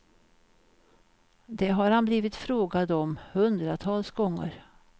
Det har han blivit frågad om hundratals gånger.